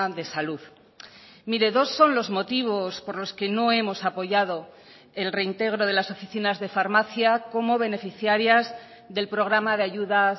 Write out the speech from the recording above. de salud mire dos son los motivos por los que no hemos apoyado el reintegro de las oficinas de farmacia como beneficiarias del programa de ayudas